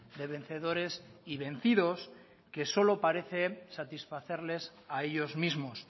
de vencedores y vencidos que solo parece satisfacerles a ellos mismos